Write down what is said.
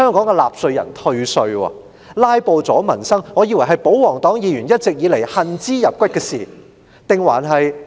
我一直以為"拉布"阻民生是保皇黨議員一直恨之入骨的事，是我誤會了嗎？